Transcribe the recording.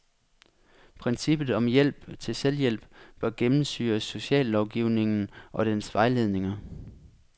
Princippet om hjælp til selvhjælp bør gennemsyre sociallovgivningen og dens vejledninger.